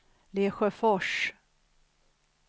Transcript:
Lesjöfors